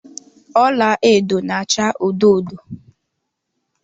Ọla edo na acha odo odo